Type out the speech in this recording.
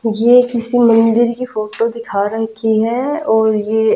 ये किसी मंदिर की फोटो दिखा रखी है और ये --